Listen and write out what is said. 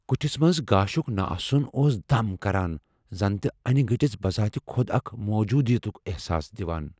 كُٹھِس منز گاشُك نہٕ آسُن اوس دم كران ، زن تہِ انہِ گٹِس بذات خۄد اكھ موٗجوٗدِیت احساس دِوان ۔